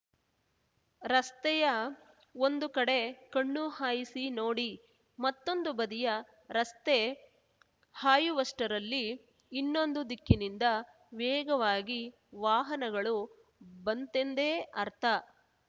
ರಸ್ತೆಯ ಒಂದು ಕಡೆ ಕಣ್ಣು ಹಾಯಿಸಿ ನೋಡಿ ಮತ್ತೊಂದು ಬದಿಯ ರಸ್ತೆ ಹಾಯುವಷ್ಠರಲ್ಲಿ ಇನ್ನೊಂದು ದಿಕ್ಕಿನಿಂದ ವೇಗವಾಗಿ ವಾಹನಗಳು ಬಂತೆಂದೇ ಅರ್ಥ